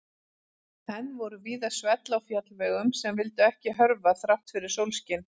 Enn voru víða svell á fjallvegum sem vildu ekki hörfa þrátt fyrir sólskin.